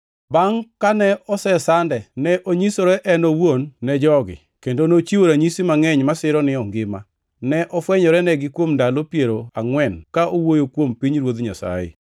Bangʼ kane osesande, ne onyisore en owuon ne jogi, kendo nochiwo ranyisi mangʼeny masiro ni ongima. Ne ofwenyorenigi kuom ndalo piero angʼwen ka owuoyo kuom pinyruodh Nyasaye.